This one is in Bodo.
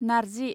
नारजि